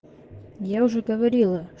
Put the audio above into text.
я уже говорила